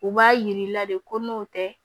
U b'a yir'i la de ko n'o tɛ